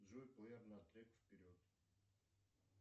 джой плеер на трек вперед